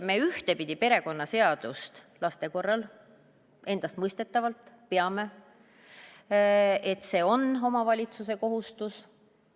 Me laste korral peame ühtepidi endastmõistetavaks, et see on omavalitsuse kohustus.